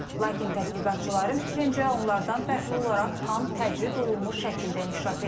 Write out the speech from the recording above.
Lakin tədqiqatçıların fikrincə, onlardan fərqli olaraq tam təcrid olunmuş şəkildə inkişaf edib.